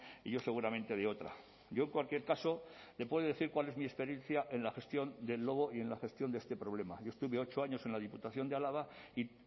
y yo seguramente de otra yo en cualquier caso le puedo decir cuál es mi experiencia en la gestión del lobo y en la gestión de este problema yo estuve ocho años en la diputación de álava y